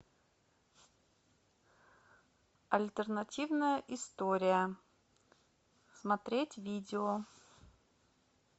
альтернативная история смотреть видео